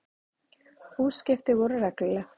Útskipti voru regluleg.